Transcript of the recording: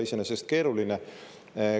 See ei ole iseenesest keeruline.